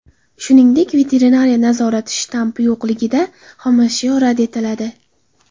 Shuningdek, veterinariya nazorati shtampi yo‘qligida xomashyo rad etiladi.